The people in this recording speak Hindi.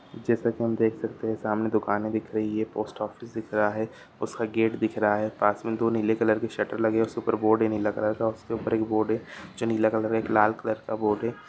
जैसा की हम देख सकते हैं। सामने दुकानें दिख रही हैं। पोस्ट ऑफिस दिख रहा है उसका गेट दिख रहा है। पास में दो नीले कलर की शटर लगे हैं उसके ऊपर बोर्ड ही नहीं लग रखा है उसके ऊपर एक बोर्ड है जो नीला कलर एक लाल कलर का बोर्ड है।